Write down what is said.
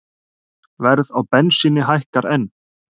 Verð á bensíni hækkar enn